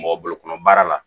Mɔgɔ bolo kɔnɔ baara la